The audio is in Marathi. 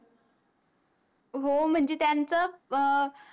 हो म्हणजे त्यांच